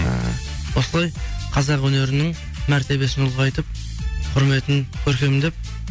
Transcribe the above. ы осылай қазақ өнерінің мәртебиесін ұлғайтып құрметін көркемдеп